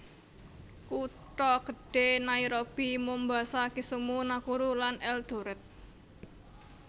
Kutha gedhé Nairobi Mombasa Kisumu Nakuru lan Eldoret